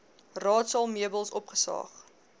raadsaal meubels opgesaag